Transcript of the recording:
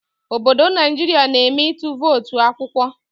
Obodo Naijiria na eme ịtụ votu akwụkwọ